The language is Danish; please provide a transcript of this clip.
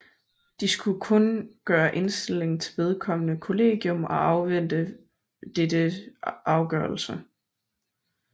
De skulle kun gøre indstilling til vedkommende kollegium og afvente dettes afgørelse